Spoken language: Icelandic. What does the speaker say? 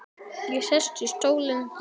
Ég sest í stólinn þinn.